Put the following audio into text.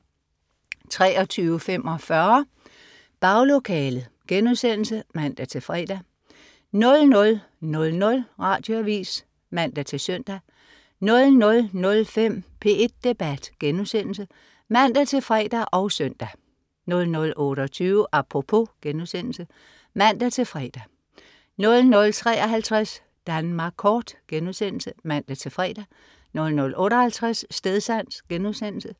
23.45 Baglokalet* (man-fre) 00.00 Radioavis (man-søn) 00.05 P1 Debat* (man-fre og søn) 00.28 Apropos* (man-fre) 00.53 Danmark kort* (man-fre) 00.58 Stedsans*